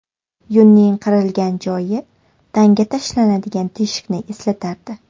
Yungning qirilgan joyi tanga tashlanadigan teshikni eslatardi.